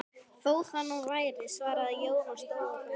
Þó það nú væri, svaraði Jón og stóð á fætur.